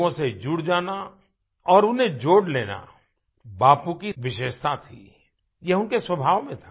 लोगों से जुड़ जाना और उन्हें जोड़ लेना बापू की विशेषता थी ये उनके स्वभाव में था